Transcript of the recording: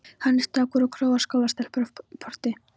Hann er strákur og króar skólastelpur af í porti.